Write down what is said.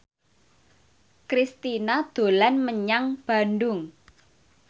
Kristina dolan menyang Bandung